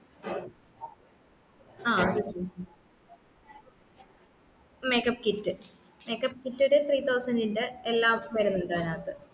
ആ make up kit make up kit ഒരു three thousand ഇന്റെ എല്ലാം വരുന്നുണ്ട് അയ്‌നാഥ്